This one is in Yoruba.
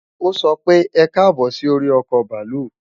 O so pe, ekabo si ori oko baalu.